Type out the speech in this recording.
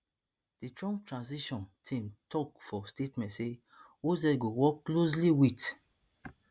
di trump transition team tok for statement say oz go work closely wit